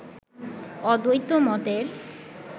অদ্বৈত মতের